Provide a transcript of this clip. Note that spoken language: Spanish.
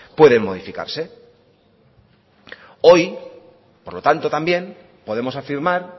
pueden modificarse hoy por lo tanto también podemos afirmar